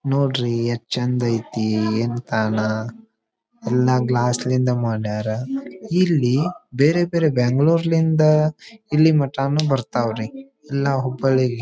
ನೋಡ್ರಿ ಎಷ್ಟ್ ಚಂದ್ ಐತಿ ಎಲ್ಲಾ ಗ್ಲಾಸ್ ನಿಂದ ಮಾಡ್ಯಾರ ಇಲ್ಲಿ ಬೇರೆ ಬೇರೆ ಬೆಂಗಳೂರ್ ಯಿಂದ ಇಲ್ಲಿ ಮಟಾ ನು ಬರ್ತಾವ್ ರೀ ನಾವ್ ಹುಬ್ಬಳ್ಳಿ --